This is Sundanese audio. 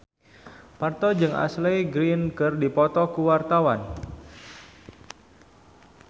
Parto jeung Ashley Greene keur dipoto ku wartawan